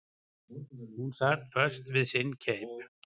Hún sat föst við sinn keip.